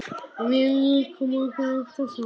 Við lékum okkur alltaf saman.